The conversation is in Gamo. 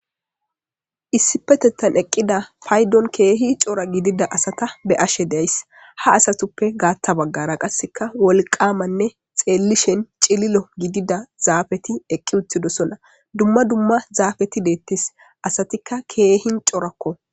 issipetettan eqqida paydon keehi cora gidida asata be ashe deys ha asatuppe gaatta baggara qasseka wolqamanne xeellishen cililo gidida zaafeti eqqi uttidosona dumma dumma zaafeti deettis asatikka keehin corakko